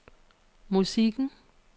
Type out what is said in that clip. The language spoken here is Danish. musikken